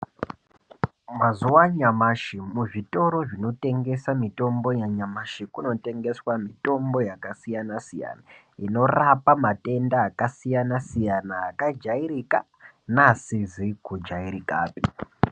Mazuva anyamashi muzvitoro zvinotengesa mitombo yanyamashi kunotengeswa mitombo yakasiyana-siyana. Inorapa matenda akasiyana-siyana, akajairika naasizikujairikapi.